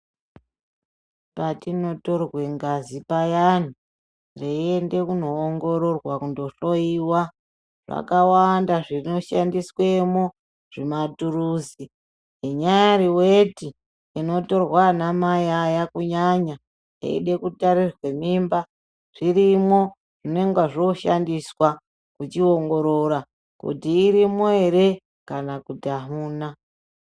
Patinotorwe ngazi payani, zveiende kunongororwa kunodhloyiwa, zvakawanda zvishandiswemwo, zvimaturusi, inyari weti inotorwa ana mai aya kunyanya eide kutarirwe mimba, zvirimwo. Zvinonga zvoshandiswa, kuchiongorora kuti irimwo ere kana kuti hamuna.